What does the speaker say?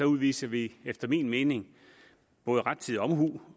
udviser vi efter min mening både rettidig omhu